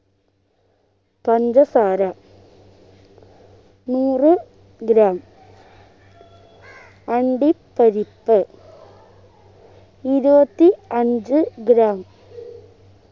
പഞ്ചസാര നൂറ് gram അണ്ടി പരിപ്പ് ഇരുപത്തി അഞ്ച് gram